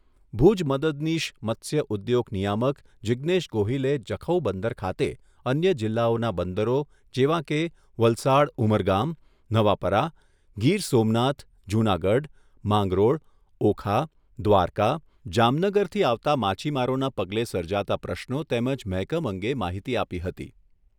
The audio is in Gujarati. ભુજ મદદનીશ મત્સ્ય ઉદ્યોગ નિયામક જિજ્ઞેશ ગોહિલે જખૌ બંદર ખાતે અન્ય જિલ્લાઓના બંદરો જેવાં કે વલસાડ ઉમરગામ, નવાપરા, ગીર સોમનાથ, જૂનાગઢ, માંગરોળ, ઓખા, દ્વારકા, જામનગરથી આવતા માછીમારોના પગલે સર્જાતા પ્રશ્નો તેમજ મહેકમ અંગે માહિતી આપી હતી